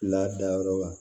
Ladayɔrɔ la